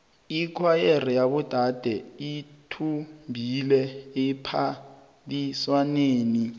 ikhwayere yabodade ithumbile ephaliswaneni